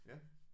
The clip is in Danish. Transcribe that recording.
Ja